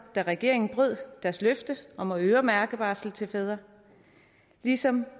da regeringen brød deres løfte om at øremærke barsel til fædre ligesom